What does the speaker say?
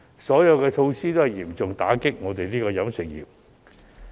上述措施全都嚴重打擊飲食業。